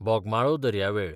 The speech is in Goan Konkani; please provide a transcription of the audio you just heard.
बोगमाळो दर्यावेळ